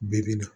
Bɛɛ bɛ na